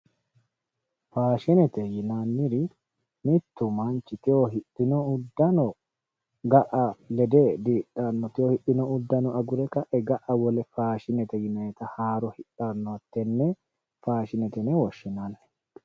Faashinete yinannirichi mittu manchi tewoo hidhino uddano ga'a lede dihidhanno tewoo hidhinota agure kae ga'a wole faashinete yinayiita haaro hidhanno hattee faashinete yine woshshinanni